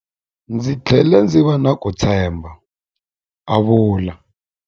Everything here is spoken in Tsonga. Ndzi tlhele ndzi va na ku titshemba, a vula.